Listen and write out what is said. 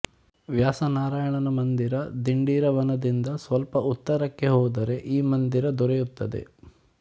ವ್ಯಾಸನಾರಾಯಣನ ಮಂದಿರ ದಿಂಡೀರವನದಿಂದ ಸ್ವಲ್ಪ ಉತ್ತರಕ್ಕೆ ಹೋದರೆ ಈ ಮಂದಿರ ದೊರೆಯುತ್ತದೆ